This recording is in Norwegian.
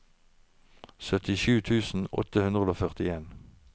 syttisju tusen åtte hundre og førtien